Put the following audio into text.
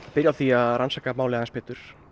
byrja á því að rannsaka málið betur